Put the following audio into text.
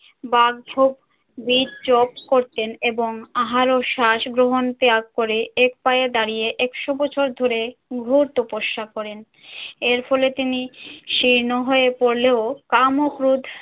বাকঢোক বীর jobs করতেন এবং আহার ও শ্বাস গ্রহণ ত্যাগ করে এক পায়ে দাঁড়িয়ে একশো বছর ধরে ঘোর তপস্যা করেন। এর ফলে তিনি শীর্ণ হয়ে পড়লেও কাম ও ক্রোধ